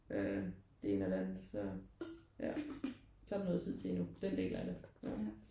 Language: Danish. Øh det ene eller det andet så ja så er der noget tid til endnu. Den del af det ja